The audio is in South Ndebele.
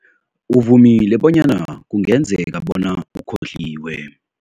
Uvumile bonyana kungenzeka bona ukhohliwe.